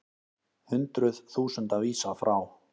Hundruð þúsunda vísað frá